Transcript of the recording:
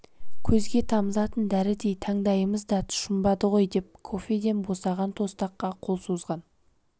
көзге тамызатын дәрідей таңдайымыз да тұшынбады ғой деп кофеден босаған тостаққа қол созған